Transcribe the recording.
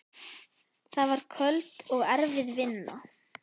Það var köld og erfið vinna.